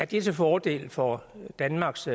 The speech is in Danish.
til fordel for danmarks